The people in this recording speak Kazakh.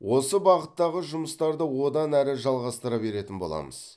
осы бағыттағы жұмыстарды одан әрі жалғастыра беретін боламыз